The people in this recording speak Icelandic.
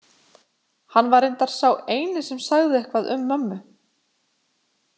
Hann var reyndar sá eini sem sagði eitthvað um mömmu.